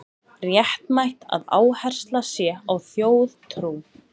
Réttmætt að áhersla sé á þjóðtrú